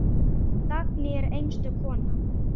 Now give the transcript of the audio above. Dagný var einstök kona.